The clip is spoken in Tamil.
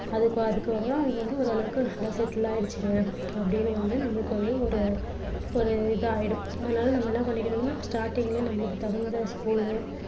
அதுக்காக அதுக்காக தான் அது வந்து ஓரளவுக்கு நல்லா settle ஆயிடுச்சு அப்படின்னு வந்து நமக்கு வந்து ஒரு ஒரு இதாயிடும் அதனால நம்ம என்ன பண்ணிக்கணும்னா starting லயே நமளுக்குத் தகுந்த school